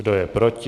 Kdo je proti?